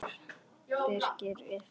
Birkir yppti öxlum.